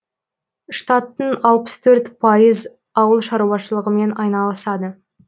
штаттың алпыс төрт пайыз ауыл шаруашылығымен айналысады